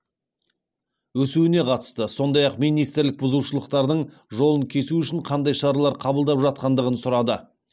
өсуіне қатысты сондай ақ министрлік бұзушылықтардың жолын кесу үшін қандай шаралар қабылдап жатқандығын сұрады